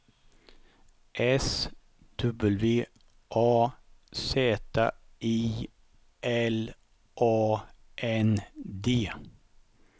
S W A Z I L A N D